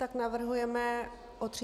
Tak navrhujeme o 30 dnů.